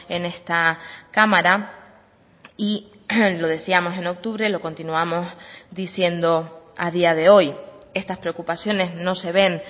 en esta cámara y lo decíamos en octubre lo continuamos diciendo a día de hoy estas preocupaciones no se ven